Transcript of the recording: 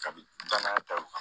Kabini danaya ta